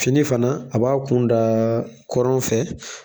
Fini fana a b'a kun da kɔrɔn fɛ